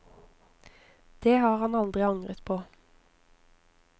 Det har han aldri angret på.